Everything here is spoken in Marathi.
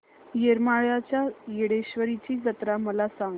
येरमाळ्याच्या येडेश्वरीची जत्रा मला सांग